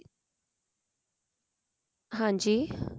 ਹਾਂਜੀ